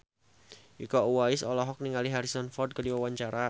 Iko Uwais olohok ningali Harrison Ford keur diwawancara